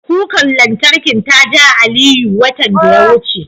Kukar lantarkin ta ja Aliyu, watan da ya wuce.